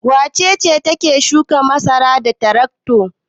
Wace ce take shukan masara da tarakto?